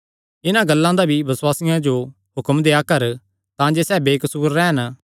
इन्हां गल्लां दा भी बसुआसियां जो हुक्म देआ कर तांजे सैह़ बेकसूर रैह़न